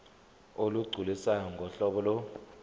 olugculisayo ngohlobo lo